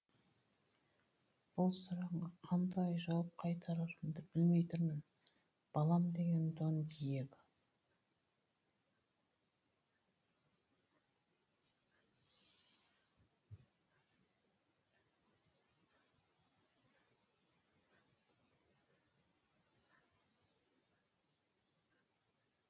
бұл сұрағыңа қандай жауап қайтарарымды білмей тұрмын балам деген дон дьего